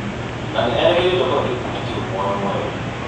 Na nĩ erĩgĩrĩirwo kũhe gĩkundi kĩu muoyo mwerũ.